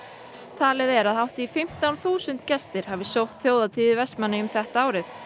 talið er að hátt í fimmtán þúsund gestir hafi sótt þjóðhátíð í Vestmannaeyjum þetta árið